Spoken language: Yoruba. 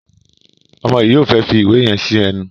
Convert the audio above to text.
Omo yi yóò fè fí ìwé yen sí ẹnu.